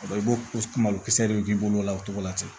I b'o malokisɛ de k'i bolo la o cogo la ten